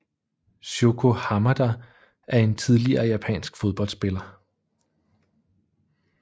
Shoko Hamada er en tidligere japansk fodboldspiller